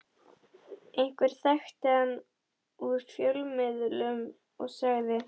Einhver þekkti hann úr fjölmiðlum og sagði